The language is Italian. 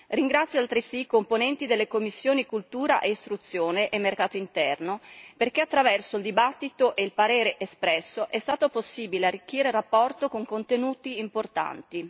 Ringrazio altresì i componenti delle commissioni per la cultura e l'istruzione e per il mercato interno perché, attraverso il dibattito e il parere espresso, è stato possibile arricchire la relazione con contenuti importanti.